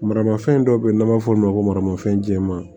Maramafɛn dɔ bɛ yen n'an b'a fɔ o ma ko maramafɛn jɛman